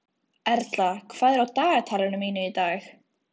Erla, hvað er í dagatalinu í dag?